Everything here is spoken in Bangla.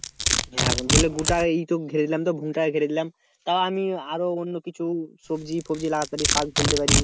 হ্যাঁ গোটাই ঘিরে দিলাম তো ভূ টাকে ঘিরে দেখলাম তা আমি আরো অন্য কিছু সবজি ফবজি লাগাতে পারি শাক ফেলতে পারি